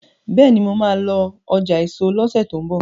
béèni mọ má lọ ọjà eso lọsẹ ti n bọ